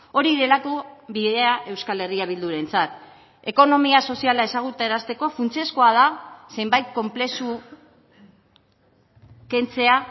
hori delako bidea euskal herria bildurentzat ekonomia soziala ezagutarazteko funtsezkoa da zenbait konplexu kentzea